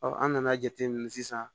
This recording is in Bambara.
an nana jateminɛ sisan